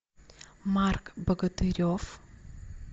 марк богатырев